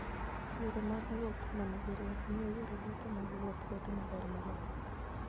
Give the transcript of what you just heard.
Yore mag wuoth ma nigi rieko miyo yore duto mag wuoth bedo maber moloyo.